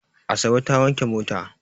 Asabe ta wanke mota.